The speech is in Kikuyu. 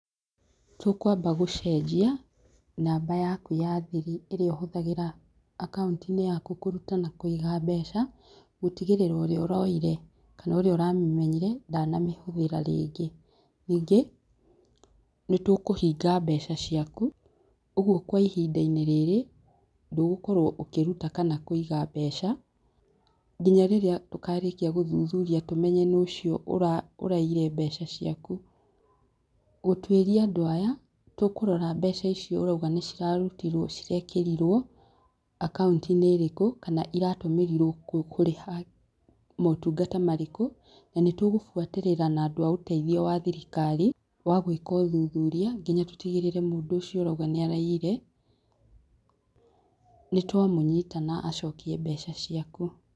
Tũkwamba gũcenjia namba yaku ya thiri ĩrĩa ũhũthagĩra akauntinĩ yaku kũruta na kũiga mbeca, gũtigĩrĩra ũrĩa ũroire kana ũria ũramĩmenyire ndanamĩhũthĩra. Ningĩ nĩtũkũhinga mbeca ciaku ũguo kwa ihindainĩ rĩrĩ ndũgũkorwo ũkĩruta kana kũiga mbeca nginya rĩrĩa tũkarĩkia gũthuthuria tũmenye no ũcio ũrainyire mbeca ciaku. Gũtuĩria andũ aya tũkũrora mbeca icio ũrauga nĩcirarutirwo cirekĩrirwo akaũntinĩ ĩrĩkũ, kana iratũmĩrirwo kũrĩha motungata marĩkũ, na nĩtũgũbuatĩrĩra na andũ a ũteithio wa thirikari wa gwĩka ũthuthuria nginya tũtigĩrĩre mũndũ ũcio ũrauga nĩaraiyire nĩtwamũnyita na acokie mbeca ciaku.